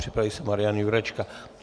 Připraví se Marian Jurečka.